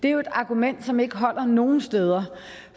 er jo et argument som ikke holder nogen steder